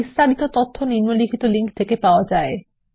বিস্তারিত তথ্য নিম্নলিখিত লিঙ্ক থেকে পাওয়া যায়